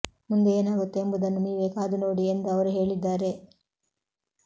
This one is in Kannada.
ಮುಂದೆ ಏನಾಗುತ್ತೆ ಎಂಬುದನ್ನು ನೀವೆ ಕಾದು ನೋಡಿ ಎಂದು ಅವರು ಹೇಳಿದ್ದಾರೆ